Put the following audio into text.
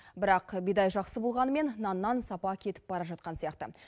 бірақ бидай жақсы болғанымен наннан сапа кетіп бара жатқан сияқты